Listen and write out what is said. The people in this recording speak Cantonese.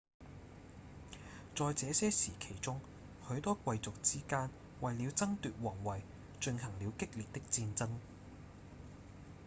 在這些時期中許多貴族之間為了爭奪王位進行了激烈的戰爭